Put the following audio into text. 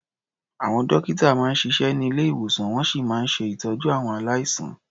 Àwọn dọ́kítà máa ń siṣẹ́ ní ilé-ìwòsàn, wọ́n sì máa ń ṣe ìtọ́jú àwọn aláìsàn.